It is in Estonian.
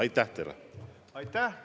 Aitäh!